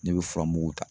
Ne bɛ furamugu ta